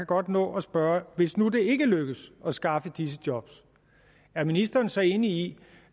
godt nå at spørge hvis nu det ikke lykkes at skaffe disse job er ministeren så enig i